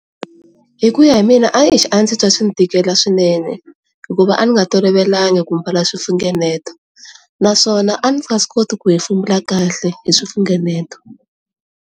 Hi ku ya hi mina a eish, a ndzi twa swi ndzi tikela swinene hikuva a ndzi nga tolovelanga ku mbala swifunengeto naswona a ndzi nga koti ku hefemula kahle hi swifunengeto.